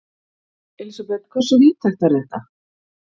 Elísabet, hversu víðtækt er þetta?